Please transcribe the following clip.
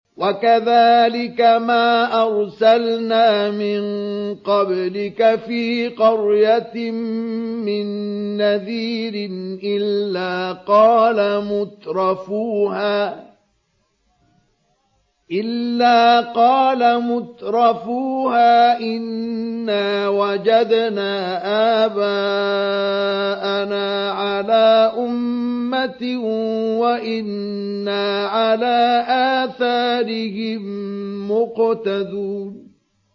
وَكَذَٰلِكَ مَا أَرْسَلْنَا مِن قَبْلِكَ فِي قَرْيَةٍ مِّن نَّذِيرٍ إِلَّا قَالَ مُتْرَفُوهَا إِنَّا وَجَدْنَا آبَاءَنَا عَلَىٰ أُمَّةٍ وَإِنَّا عَلَىٰ آثَارِهِم مُّقْتَدُونَ